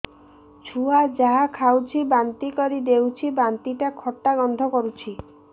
ଛୁଆ ଯାହା ଖାଉଛି ବାନ୍ତି କରିଦଉଛି ବାନ୍ତି ଟା ଖଟା ଗନ୍ଧ କରୁଛି